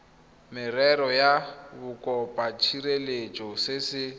merero ya bokopatshireletso se se